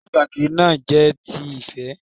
Eré ìtàgé náà jẹ́ ti ìfé